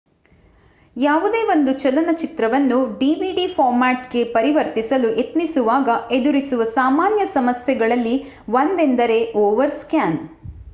ಯಾವುದೇ ಒಂದು ಚಲನಚಿತ್ರವನ್ನು ಡಿವಿಡಿ ಫಾರ್ಮ್ಯಾಟ್ ಗೆ ಪರಿವರ್ತಿಸಲು ಯತ್ನಿಸುವಾಗ ಎದುರಿಸುವ ಸಾಮಾನ್ಯ ಸಮಸ್ಯೆಗಳಲ್ಲಿ ಒಂದೆಂದರೆ ಓವರ್ ಸ್ಕ್ಯಾನ್